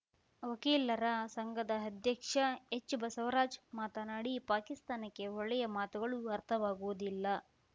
ವಕೀಲರ ಸಂಘದ ಅಧ್ಯಕ್ಷ ಎಚ್‌ಬಸವರಾಜ್‌ ಮಾತನಾಡಿ ಪಾಕಿಸ್ತಾನಕ್ಕೆ ಒಳ್ಳೆಯ ಮಾತುಗಳು ಅರ್ಥವಾಗುವುದಿಲ್ಲ